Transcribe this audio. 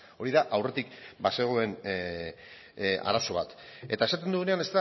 hori da aurretik bazegoen arazo bat eta esaten dugunean